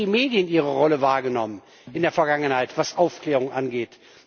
Haben eigentlich die Medien ihre Rolle wahrgenommen in der Vergangenheit, was Aufklärung angeht?